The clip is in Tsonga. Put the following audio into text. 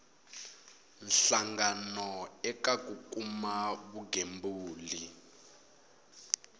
hlangano eka ku kuma vugembuli